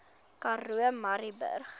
karoo murrayburg